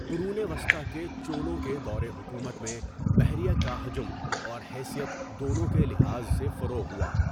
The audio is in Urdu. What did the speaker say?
قرون وسطیٰ کے چولوں کے دور حکومت میں بحریہ کا حجم اور حیثیت دونوں کے لحاظ سے فروغ ہوا۔